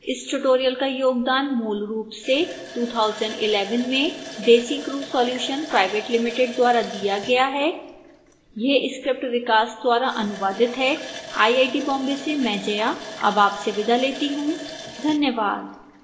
इस tutorial का योगदान मूलरूप से 2011 में desicrew solutions pvt ltd द्वारा दिया गया है यह स्क्रिप्ट विकास द्वारा अनुवादित है आईआईटी बॉम्बे से मैं जया अब आपसे विदा लेती हूं धन्यवाद